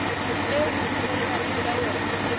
eo ho dumellanweng ka yona